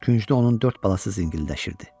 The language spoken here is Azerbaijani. Küncdə onun dörd balası zingildəşirdi.